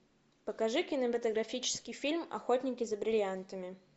покажи кинематографический фильм охотники за бриллиантами